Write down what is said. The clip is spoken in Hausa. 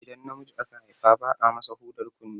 Idan namiji aka Haifa ba a masa hudar kunne